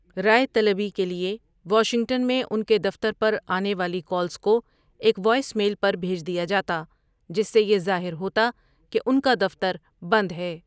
رائے طلبی کے لیے واشنگٹن میں ان کے دفتر پر آنے والی کالز کو ایک وائس میل پر بھیج دیا جاتا جس سے یہ ظاہر ہوتا کہ ان کا 'دفتر بند ہے'۔